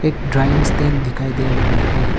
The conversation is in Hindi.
एक ड्राइंग स्टैंड दिखाई दे रहा है।